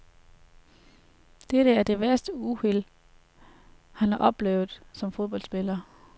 Dette er det værste uheld, han har oplevet som fodboldspiller.